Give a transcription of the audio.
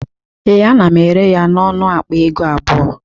Ee, ana m ere ya n'ọnụ akpa ego abụọ